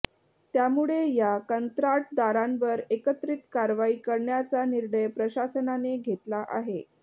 त्यामुळे या कंत्राटदारांवर एकत्रित कारवाई करण्याचा निर्णय प्रशासनाने घेतला आहे